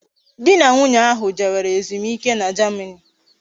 Di na nwunye ahu jewere ezumike na Germany